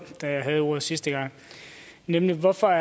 da jeg havde ordet sidste gang nemlig hvorfor